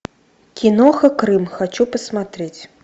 киноха крым хочу посмотреть